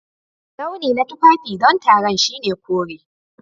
Launi na tufafi don taron shine kore.